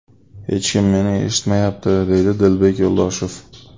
Hech kim meni eshitmayapti, deydi Dilbek Yo‘ldoshev.